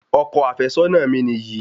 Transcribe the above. Ọkọ àfẹ́sọ́nà mi niyi